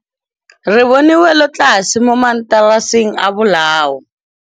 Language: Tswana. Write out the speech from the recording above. Re bone wêlôtlasê mo mataraseng a bolaô.